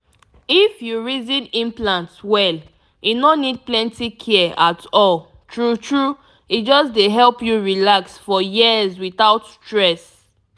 if you reason implant well e no need plenty care at all true true e just dey help you relax for years without stress.